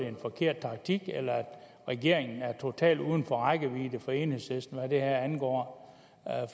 en forkert taktik eller at regeringen er totalt uden for rækkevidde for enhedslisten hvad det her angår